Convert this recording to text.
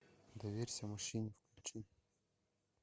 доверься мужчине включи